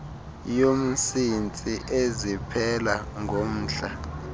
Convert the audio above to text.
yomsintsi eziphela ngomhla